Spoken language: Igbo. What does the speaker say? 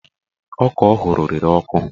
Ọka ọ hụrụ rere ọkụ